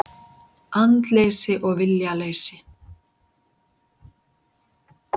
Andleysi og viljaleysi.